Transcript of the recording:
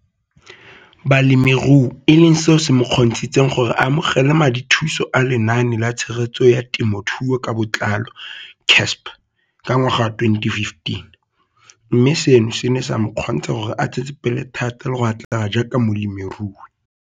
Balemirui e leng seo se mo kgontshitseng gore a amogele madithuso a Lenaane la Tshegetso ya Te mothuo ka Botlalo CASP ka ngwaga wa 2015, mme seno se ne sa mo kgontsha gore a tsetsepele thata le go atlega jaaka molemirui.